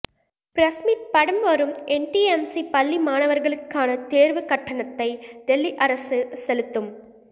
press meet படம் வரும்என்டிஎம்சி பள்ளி மாணவா்களுக்கானதோ்வுக் கட்டணத்தை தில்லி அரசு செலுத்தும்